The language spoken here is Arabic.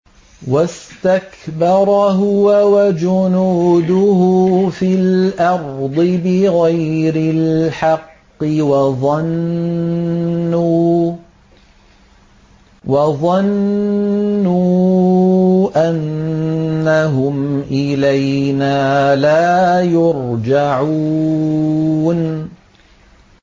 وَاسْتَكْبَرَ هُوَ وَجُنُودُهُ فِي الْأَرْضِ بِغَيْرِ الْحَقِّ وَظَنُّوا أَنَّهُمْ إِلَيْنَا لَا يُرْجَعُونَ